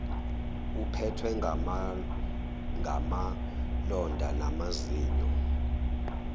uphethwe ngamalonda namazinyo